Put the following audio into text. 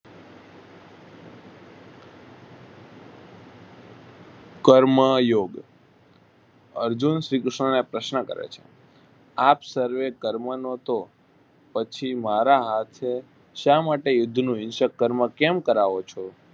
કર્મયોગ અર્જુન શ્રી કૃષ્ણને આ પ્રશ્ન કરે છે આપ સર્વે કર્મનો તો પછી મારા હાથે શા માટે યુર્ધ વિષે કર્મ કેમ કરવો છો.